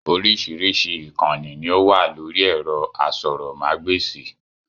Orísirísi ìkànì ní ó wà lórí ẹ̀rọ asọ̀rọ̀ ma gba èsì